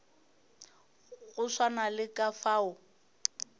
go swana le ka fao